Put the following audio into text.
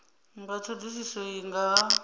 nga thodisiso iyi nga ha